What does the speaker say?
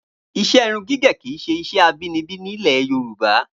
Iṣẹ́ irun gígẹ̀ kí í ṣe iṣẹ́ abinibi nílẹ̀ Yorùbá